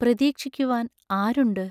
പ്രതീക്ഷിക്കുവാൻ ആരുണ്ട്?